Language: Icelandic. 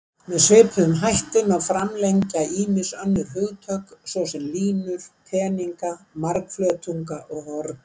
Með svipuðum hætti má framlengja ýmis önnur hugtök, svo sem línur, teninga, margflötunga og horn.